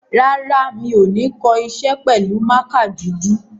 Rárá, mi ò ní kọ iṣẹ́ pẹ̀lú mákà dúdú.